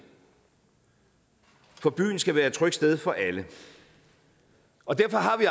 for byen skal være et trygt sted for alle og derfor har vi